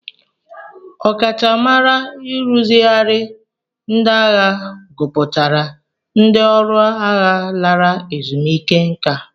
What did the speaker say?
Ọkachamara nrụzigharị ndị agha gụpụtara ndị ọrụ agha lara ezumike nka.